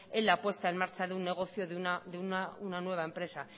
en la puesta en marcha de un negocio de una nueva empresa